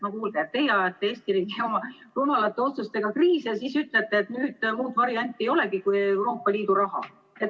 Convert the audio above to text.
No kuulge, teie ajate Eesti riigi oma rumalate otsustega kriisi ja siis ütlete, et nüüd muud varianti ei olegi kui Euroopa Liidu raha.